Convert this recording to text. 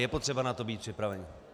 Je potřeba na to být připraven.